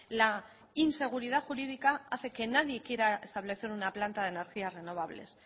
la inseguridad jurídica hace que nadie quiera establecer una planta de energías renovables